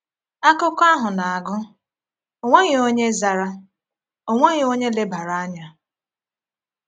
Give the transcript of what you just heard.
Akụkọ ahụ na-agụ: “Ọ nweghị onye zara, ọ nweghị onye lebara anya.”